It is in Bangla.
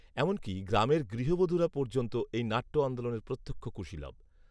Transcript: এমনকী গ্রামের গৃহবধূরা পর্যন্ত এই নাট্য আন্দোলনের প্রত্যক্ষ কুশীলব